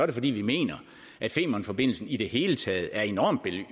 det fordi vi mener at femernforbindelsen i det hele taget er enormt